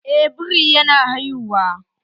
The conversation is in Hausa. Eh, biri ya na haihuwa